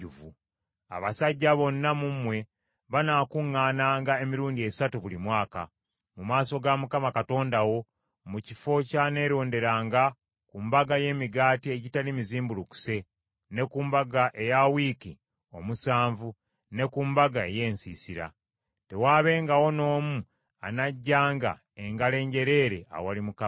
Abasajja bonna mu mmwe banaakuŋŋaananga emirundi esatu buli mwaka, mu maaso ga Mukama Katonda wo, mu kifo ky’aneeronderanga, ku Mbaga y’Emigaati Egitali Mizimbulukuse, ne ku Mbaga eya Wiiki Omusanvu, ne ku Mbaga ey’Ensiisira. Tewaabengawo n’omu anajjanga engalo enjereere awali Mukama .